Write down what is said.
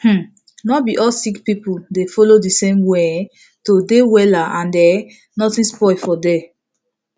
um nor be all sick people dey follow the same way um to dey wella and um nothing spoil for there